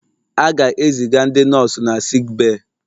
A ga-eziga ndị nọọsụ na sickbay